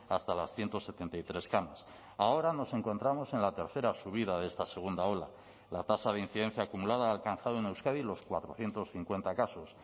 hasta las ciento setenta y tres camas ahora nos encontramos en la tercera subida de esta segunda ola la tasa de incidencia acumulada ha alcanzado en euskadi los cuatrocientos cincuenta casos